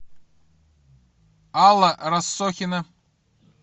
алла рассохина